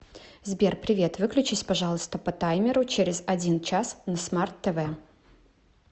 сбер привет выключись пожалуйста по таймеру через один час на смарт тв